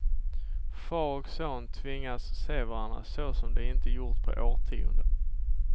Far och son tvingas se varandra så som de inte gjort på årtionden.